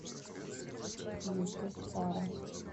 ютюб фара